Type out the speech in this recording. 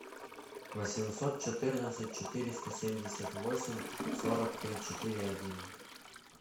восемьсот четырнадцать четыреста семьдесят восемь сорок три четыре один